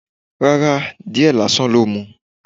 Rárá. Díẹ̀ lásán ló mu.